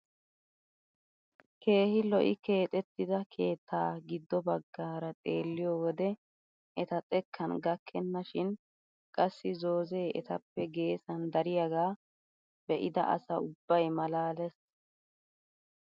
Keehi lo"i keexettida keettaa giddo baggaara xeelliyoo wode eta xekkan gakkena shin qassi zoozee etappe geessan dariyaagaa be'ida asa ubbay malaales!